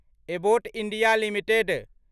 Abbott India limited